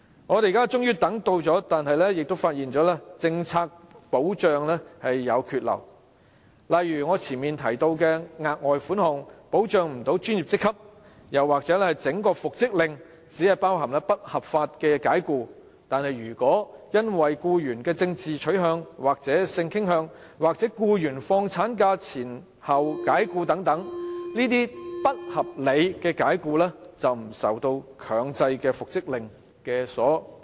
我們現在終等到了，但亦發現僱傭保障政策有缺漏，例如我前述的額外款項不能保障專業職級，又或復職令只包含不合法解僱，但如果僱員因為政治取向和性傾向被解僱，或在放取產假前後被解僱等，則這些不合理解僱均不受強制復職令所保障。